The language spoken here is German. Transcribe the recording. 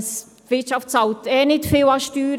Die Wirtschaft bezahlt sowieso nicht viel an Steuern.